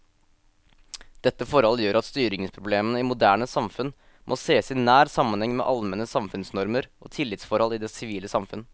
Dette forhold gjør at styringsproblemene i moderne samfunn må sees i nær sammenheng med allmenne samfunnsnormer og tillitsforhold i det sivile samfunn.